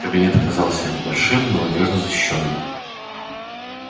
кабинет оказался небольшим но надёжно защищённым